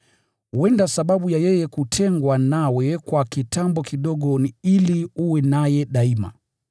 Huenda sababu ya yeye kutengwa nawe kwa kitambo kidogo ni ili uwe naye daima.